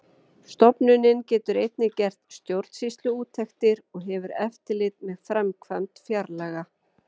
Stofnunin getur einnig gert stjórnsýsluúttektir og hefur eftirlit með framkvæmd fjárlaga.